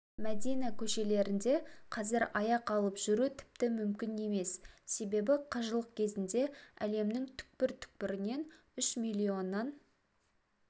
мәдина көшелерінде қазір аяқ алып жүру тіпті мүмкін емес себебі қажылық кезінде әлемнің түкпір-түкпірінен үш миллоннан